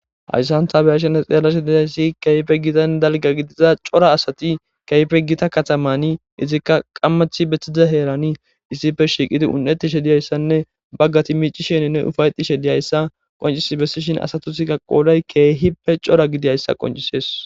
Hayssan tabeyashenne xeellashe dizayssi keyfe gitan dalga gidiza cora asati keyfe gita katamani izikka qammachi bestiza heerani issife shiiqidi un7etishe diyayssanne baggati miicisheninne ufaytishe diyayssa qoncis bessishin asatisikka qoolay keehippe cora gidiyayssa qoncisees.